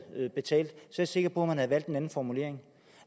betalt er jeg sikker på man havde valgt en anden formulering